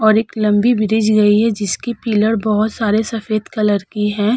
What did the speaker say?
और एक लम्बी ब्रिज गई है जिसकी पिलर बहोत सारे सफ़ेद कलर की है।